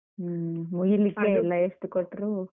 ಹ್ಮ್ ಮುಗಿಲಿಕ್ಕೆ ಇಲ್ಲ ಎಷ್ಟು ಕೊಟ್ರು.